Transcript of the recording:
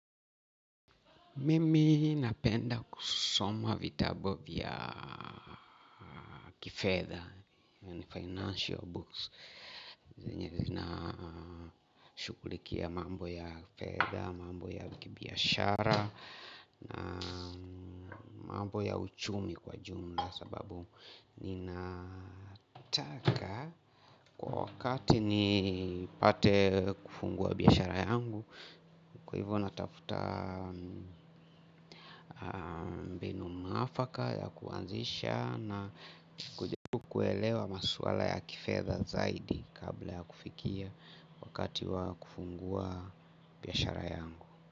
Mimi napenda kusoma vitabu vya kifedha and financial books. Zenye zinashughulikia mambo ya fedha, mambo ya kibiashara, na mambo ya uchumi kwa jumla sababu ninataka. Kwa wakati nipate kufungua biashara yangu. Kwa hivyo natafuta mbinu maafaka ya kuanzisha na kujaribu kuelewa maswala ya kifedha zaidi kabla ya kufikia. Kwa wakati wa kufungua biashara yangu.